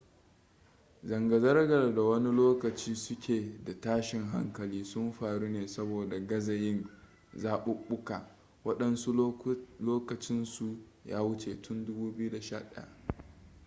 zanga-zangar da wani lokaci suke da tashin hankali sun faru ne saboda gaza yin zaɓuɓɓuka waɗansu lokacinsu ya wuce tun 2011